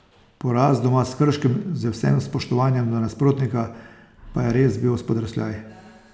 Poraz doma s Krškim, z vsem spoštovanjem do nasprotnika, pa je res bil spodrsljaj.